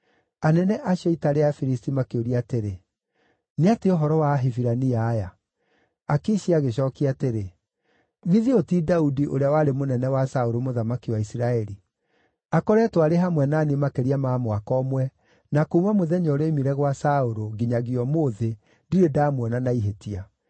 Anene acio a ita rĩa Afilisti makĩũria atĩrĩ, “Nĩ atĩa ũhoro wa Ahibirania aya?” Akishi agĩcookia atĩrĩ, “Githĩ ũyũ ti Daudi, ũrĩa warĩ mũnene wa Saũlũ mũthamaki wa Isiraeli? Akoretwo arĩ hamwe na niĩ makĩria ma mwaka ũmwe na kuuma mũthenya ũrĩa oimire gwa Saũlũ, nginyagia ũmũthĩ, ndirĩ ndamuona na ihĩtia.”